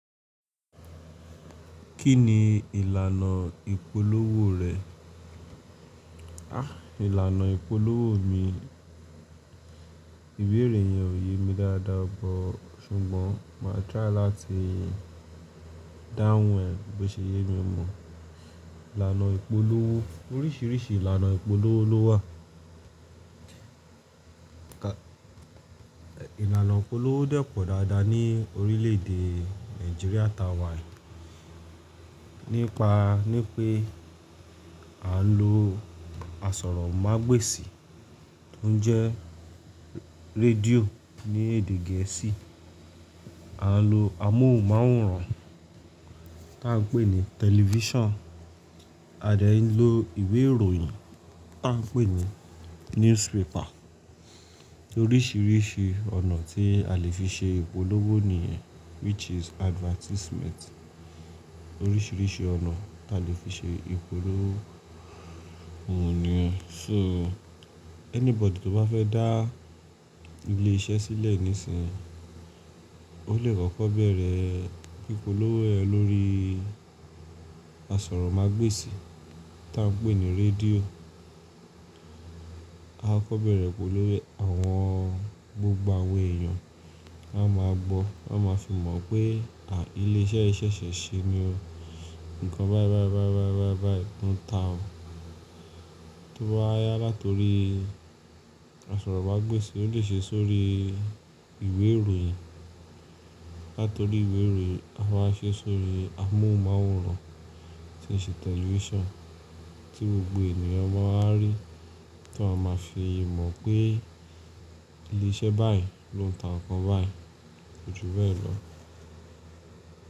Kí ni ìlànà ìpolówó rẹ̀? Àh! Ìlànà ìpolówó mi, ìwé ìròyìn ò yé mi dáadáa bo ṣùgbọ́n màá try láti dáhùn ẹ bí ṣe yé mi mọ̀. Ìlànà ìpolówó, oríṣiríṣi ìlànà ìpolówó ló wà. Ìlànà ìpolówó dẹ́pọ̀ dáadáa ní orílẹ̀ èdè Nigeria ta wà nípa ní pé à ń lo asọ̀rọ̀mágbèsì tó ń jẹ́ redio ni èdè geesi. A nlo amóhùn máwòrán ta ń pè ní tẹlifíṣàn, a dẹ́ ló ìwé ìròyìn ta ń pè ní newspaper. Oríṣiríṣi ọ̀nà tí a lè fi ṣe ìpolówó nìyen which is advertisement. Oríṣiríṣi ọ̀nà ta lè fi ṣe ìpolówó nìyen. So anybody tó bá fẹ́ dá ilé iṣẹ́ sílẹ̀ nísìnyí, ó lè kọ́kọ́ bẹ̀rẹ̀ ìpolówó ẹ lórí asọ̀rọ̀mágbèsì ta ń pè ní rédíò. A kọ́kọ́ bẹ̀rẹ̀ ìpolówó, àwọn gbogbo àwè èèyàn wá máa gbọ́, wọ́n máa fi mọ̀ pé àh ilé iṣẹ́ yìí ṣẹ̀ṣẹ̀ ṣe ni o nǹkan báì báì báì báì báì báì báì báì tó ń ta o. Tó bá wá yá látorí asọ̀rọ̀mágbèsì, ó lè ṣe sórí ìwé ìròyìn, lato orí ìwé ìròyìn, á wá se sóri amohún máwòrán tí n se telifisan ti gbogbo ènìyàn maa wa ri to n maa fi mò pé ilé isé bayii lo n ta nnkan bayii.